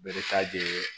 Bere ta de ye